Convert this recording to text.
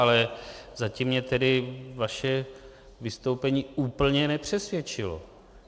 Ale zatím mě tedy vaše vystoupení úplně nepřesvědčilo.